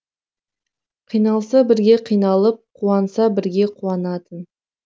қиналса бірге қиналып қуанса бірге қуанатын